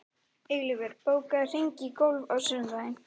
Eilífur, bókaðu hring í golf á sunnudaginn.